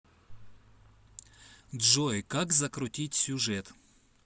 джой как закрутить сюжет